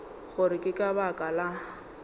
gore ke ka baka la